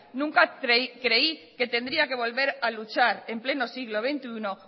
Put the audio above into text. nunca creí que tendría que volver a luchar en pleno siglo veintiuno